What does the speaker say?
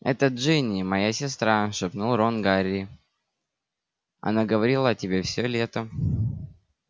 это джинни моя сестра шепнул рон гарри она говорила о тебе всё лето